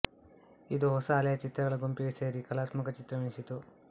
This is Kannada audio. ಇದು ಹೊಸ ಅಲೆಯ ಚಿತ್ರಗಳ ಗುಂಪಿಗೆ ಸೇರಿ ಕಲಾತ್ಮಕ ಚಿತ್ರವೆನಿಸಿತು